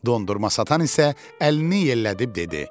Dondurma satan isə əlini yellədib dedi: